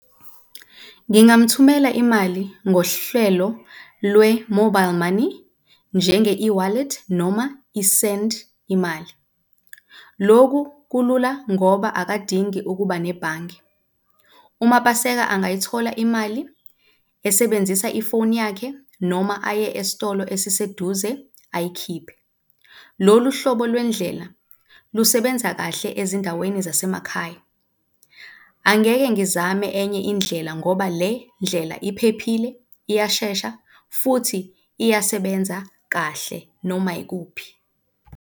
Ngingamuthumela imali ngohlelo lwe-mobile money njenge e-Wallet noma i-Send iMali, loku kulula ngoba akadingi ukuba nebhange. UMapaseka angayithola imali esebenzisa ifoni yakhe noma aye esitolo esiseduze ayikhiphe. Lolu hlobo lwendlela lusebenza kahle ezindaweni zasemakhaya. Angeke ngizame enye indlela ngoba le ndlela iphephile, iyashesha futhi iyasebenza kahle noma yikuphi.